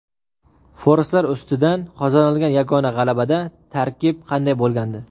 Forslar ustidan qozonilgan yagona g‘alabada tarkib qanday bo‘lgandi?.